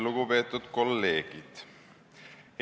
Lugupeetud kolleegid!